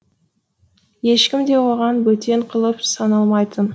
ешкім де оған бөтен қолып саналмайтын